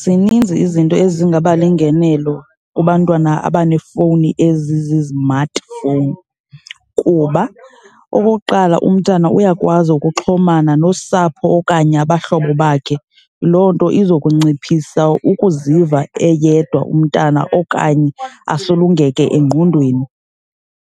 Zininzi izinto ezingaba lingenelo kubantwana abaneefowunini ezizimatifowuni kuba okokuqala, umntana uyakwazi ukuxhomana nosapho okanye abahlobo bakhe. Loo nto izokunciphisa ukuziva eyedwa umntana okanye asulungeke engqondweni.